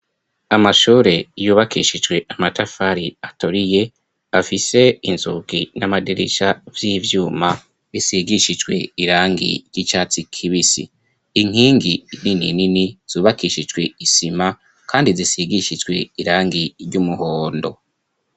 Amashure yubakishijwe amatafari atoriye afise inzuki n'amaderisa vy'ivyuma isigishijwe irangi ry'icatsi kibisi inkingi nini nini zubakishijwe isima, kandi zisigishijwe irangi ry'umuhondo.